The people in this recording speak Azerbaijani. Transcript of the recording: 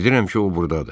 Bilirəm ki, o burdadır.